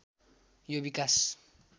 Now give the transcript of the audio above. यो विकास